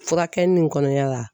Furakɛli nin kɔnɔya la